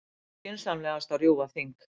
Skynsamlegast að rjúfa þing